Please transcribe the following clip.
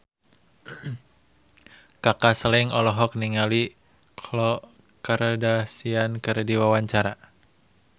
Kaka Slank olohok ningali Khloe Kardashian keur diwawancara